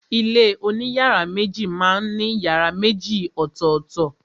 Ilé oní yàrá méjì má n ní yàrá méjì ọ̀tọ̀tọ̀.